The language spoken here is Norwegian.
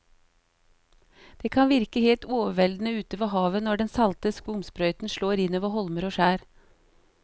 Det kan virke helt overveldende ute ved havet når den salte skumsprøyten slår innover holmer og skjær.